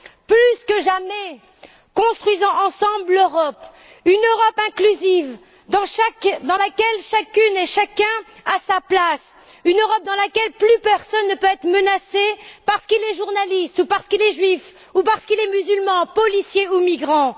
Plus que jamais, construisons ensemble l'Europe, une Europe inclusive dans laquelle chacune et chacun a sa place, une Europe dans laquelle plus personne ne peut être menacé parce qu'il est journaliste, parce qu'il est juif, parce qu'il est musulman, policier ou migrant.